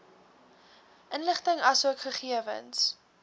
inligting asook gegewens